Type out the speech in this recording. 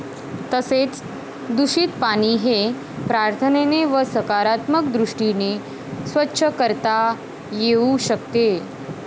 तसेच दुषित पाणी हे प्रार्थनेने व सकारात्मक दृष्टीने स्वच्छ करता येवू शकते.